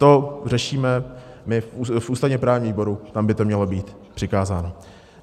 To řešíme my v ústavně-právním výboru, tam by to mělo být přikázáno.